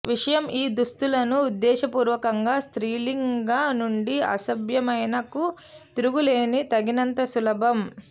విషయం ఈ దుస్తులను ఉద్దేశపూర్వకంగా స్త్రీలింగ నుండి అసభ్యమైన కు తిరుగులేని తగినంత సులభం